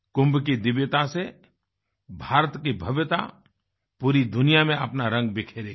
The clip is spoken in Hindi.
कुंभ की दिव्यता से भारत की भव्यता पूरी दुनिया में अपना रंग बिखेरेगी